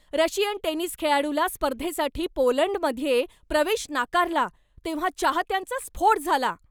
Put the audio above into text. Russian tennis खेळाडूला स्पर्धेसाठी पोलंडमध्ये प्रवेश नाकारला तेव्हा चाहत्यांचा स्फोट झाला.